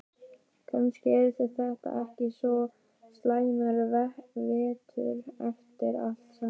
Kannski yrði þetta ekki svo slæmur vetur eftir allt saman.